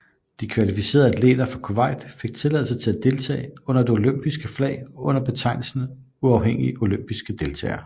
De kvalificerede atleter fra Kuwait fik tilladelse til at deltage under det olympiske flag under betegnelsen Uafhængige olympiske deltagere